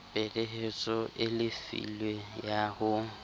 peheletso e lefilwe ya ho